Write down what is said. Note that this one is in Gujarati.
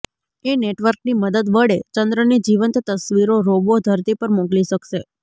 એ નેટવર્કની મદદ વડે ચંદ્રની જીવંત તસ્વીરો રોબો ધરતી પર મોકલી શકશે